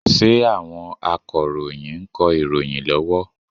Ṣé àwọn Akọ̀ròyìn ń kọ ìròyìn lọ́wọ́?